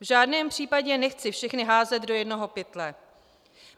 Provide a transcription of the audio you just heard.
V žádném případě nechci všechny házet do jednoho pytle.